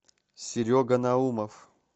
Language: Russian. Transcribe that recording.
серега наумов